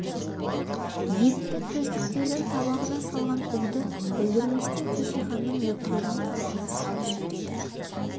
епті төстіктердің табағына салған уды білдірместен кеше ханның нөкерінің табағына салып жібереді